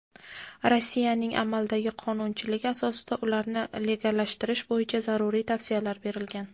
Rossiyaning amaldagi qonunchiligi asosida ularni legallashtirish bo‘yicha zaruriy tavsiyalar berilgan.